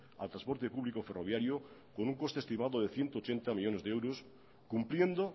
al transporte público ferroviario con un coste estimado de ciento ochenta millónes de euros cumpliendo